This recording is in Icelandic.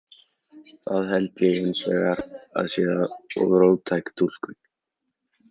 Það held ég hins vegar að sé of róttæk túlkun.